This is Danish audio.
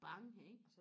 bang ikke